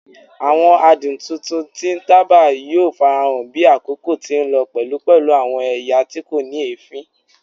Awọn adun titun ti taba yoo farahan bi akoko ti nlọ pẹlu pẹlu awọn ẹya ti ko ni eefin